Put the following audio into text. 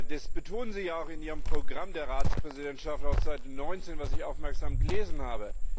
Das betonen Sie ja auch in Ihrem Programm der Ratspräsidentschaft auf Seite 19, das ich aufmerksam gelesen habe.